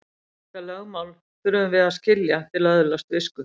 Þetta lögmál þurfum við að skilja til að öðlast visku.